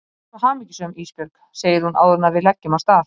Ég er svo hamingjusöm Ísbjörg, segir hún áður en við leggjum af stað.